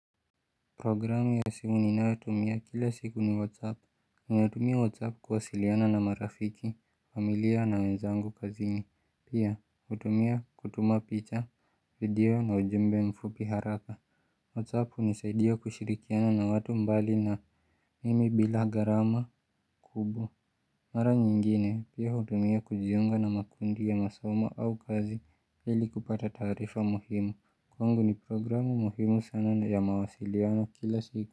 Programu ya simu ninayotumia kila siku ni whatsapp. Ninatumia whatsapp kuwasiliana na marafiki, familia na wenzangu kazin. Pia hutumia kutuma picha, video na ujumbe mfupi haraka Whatsapp hunisaidia kushirikiana na watu mbali na mimi bila gharama kubwa Mara nyingine pia hutumia kujiunga na makundi ya masomo au kazi ili kupata taarifa muhimu. Kwangu ni programu muhimu sana na ya mawasiliano kila siku.